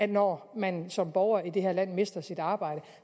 når man som borger i det her land mister sit arbejde